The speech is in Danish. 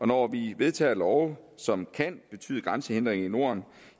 når vi vedtager love som kan betyde grænsehindringer i norden